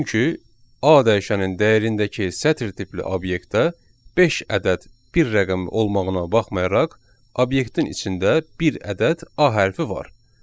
Çünki A dəyişənində dəyərindəki sətir tipli obyektə beş ədəd bir rəqəm olmağına baxmayaraq, obyektin içində bir ədəd A hərfi var.